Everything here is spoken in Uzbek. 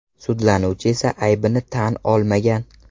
Sudlanuvchi esa aybini tan olmagan.